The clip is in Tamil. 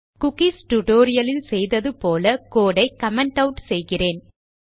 குக்கீஸ் டியூட்டோரியல் லில் செய்தது போல கோடு ஐ கமெண்ட் ஆட் செய்கிறேன்